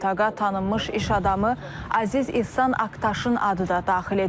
İstintaqa tanınmış iş adamı Aziz İhsan Aktaşın adı da daxil edilib.